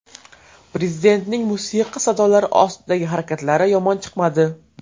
Prezidentning musiqa sadolari ostidagi harakatlari yomon chiqmadi.